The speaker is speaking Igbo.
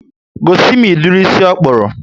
Gosimi ụdịrị ísì ikpuru